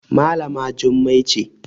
Malama Jummai ce